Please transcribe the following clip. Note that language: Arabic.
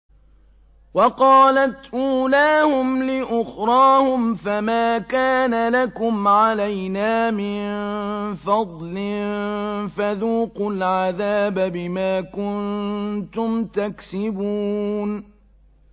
وَقَالَتْ أُولَاهُمْ لِأُخْرَاهُمْ فَمَا كَانَ لَكُمْ عَلَيْنَا مِن فَضْلٍ فَذُوقُوا الْعَذَابَ بِمَا كُنتُمْ تَكْسِبُونَ